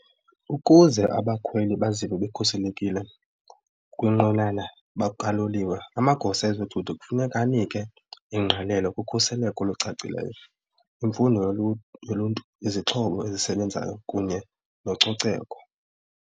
Ukuze abakhweli bazive bekhuselekile kwinqwenana kaloliwe amagosa ezothutho kufuneka anike ingqalelo kukhuseleko olucacileyo, imfundo yoluntu, izixhobo ezisebenzayo kunye nococeko.